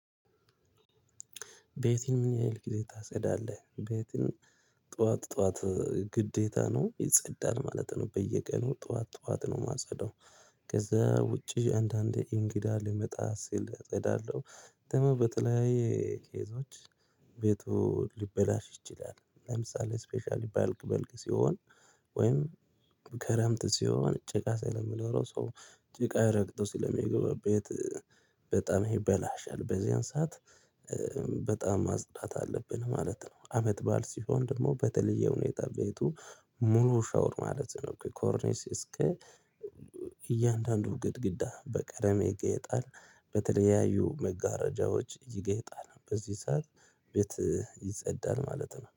ቤትህን ምን ያህል ጊዜ ታጸዳለህ? ቤቴን ጠዋት ጠዋት ግዴታ ነው የጸዳል ማለት ነው በየቀኑ ጠዋት ጠዋት ነው የማጸዳው። ከዛ ውጪ አንዳንዴ እንግዳ ልመጣ ስል አጸዳለሁ በተመበተ ላይ ኬዞች ቤቱ ሊበላሽ ይችላል ለምሳሌ ስፔሻሊ ባልክ በልክ ሲሆን ወይም ክረምት ሲሆን ጭቃ ስለሚኖረው ሰው ጭቃ ይረግጠው ስለሚገባበት በጣም ይበላሻል በዚያን ሰዓት በጣም ማጽዳት አለብን ማለት ነው አመት ባዓል ሲሆን ደግሞ በተለየ ሁኔታ ቤቱ ሙሉ ሻውር ማለት ነው ከ ኮርኒስ እስከ እያንዳንዱ ግድግዳ በቀደመ ይጌጣል በተለያዩ መጋረጃዎች ይጌጣል በዚህ ሰዓት ቤት ይጸዳል ማለት ነው